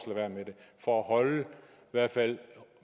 være med det for at holde i hvert fald